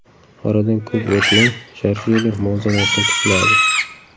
Oradan ko‘p o‘tmay Jorjinyo muvozanatni tikladi.